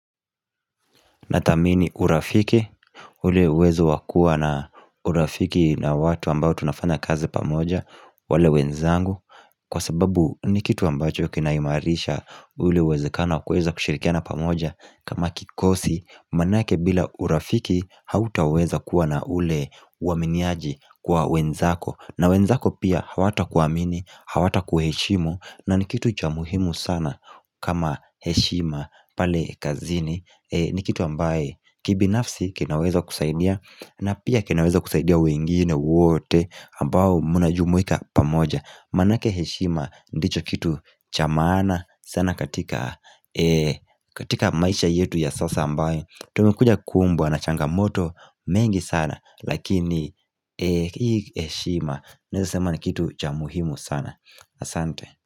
Natamini urafiki, ule uwezo wakua na urafiki na watu ambao tunafana kazi pamoja, wale wenzangu Kwa sababu ni kitu ambacho kinaimarisha ule uweze kano kuweza kushirikiana pamoja kama kikosi Maanake bila urafiki hauta weza kuwa na ule waminiaji kwa wenzako na wenzako pia hawata kuamini, hawata kuheshimu na ni kitu cha muhimu sana kama heshima pale kazini ni kitu ambaye kibi nafsi kinaweza kusaidia na pia kinaweza kusaidia wengine wote ambao muna jumuika pamoja Maanake heshima ndicho kitu chamana sana katika maisha yetu ya sasa ambayo tu mekuja kumbwa na changamoto mengi sana Lakini hii heshima naweza sema ni kitu chamuhimu sana Asante.